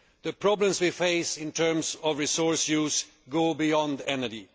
The problems we face in terms of resource use go beyond energy.